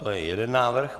To je jeden návrh.